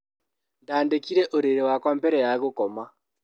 Ndandĩkire ũrĩrĩ wakwa mbere ya gũkoma.